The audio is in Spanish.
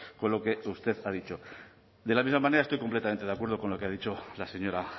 con lo que usted ha dicho de la misma manera estoy completamente de acuerdo con lo que ha dicho la señora